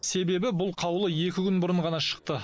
себебі бұл қаулы екі күн бұрын ғана шықты